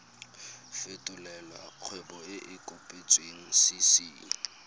fetolela kgwebo e e kopetswengcc